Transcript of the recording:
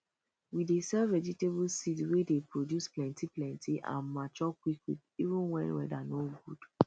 we dey sell vegetable seeds wey dey produce plenty plenty and mature quick quick even wen weather no good